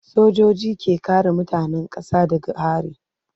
Sojoji ke kare mutanen kasa daga hari.